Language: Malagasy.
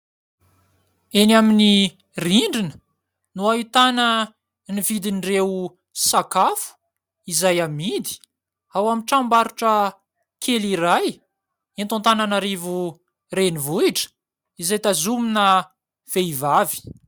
Eny amin'ny rindrina no ahitana ny vidin'ireo sakafo, izay amidy ao amin'ny tranom-barotra kely iray eto Antananarivo renivohitra, izay tazomina vehivavy.